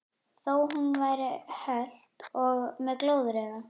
Þó hún væri hölt og með glóðarauga.